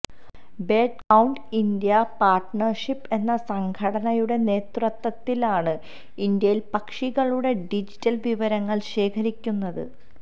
bird count India partnership എന്ന സംഘടനയുടെ നേതൃത്വത്തിലാണ് ഇന്ത്യയില് പക്ഷികളുടെ ഡിജിറ്റല് വിവരങ്ങള് ശേഖരിക്കുന്നത്